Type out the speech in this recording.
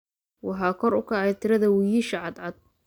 Waxaa kor u kacay tirada wiyisha cadcad.